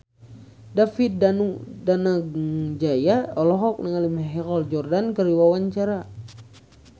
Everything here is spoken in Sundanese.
David Danu Danangjaya olohok ningali Michael Jordan keur diwawancara